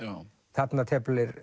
þarna teflir